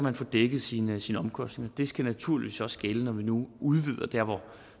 at få dækket sine sine omkostninger og det skal naturligvis også gælde når vi nu udvider der hvor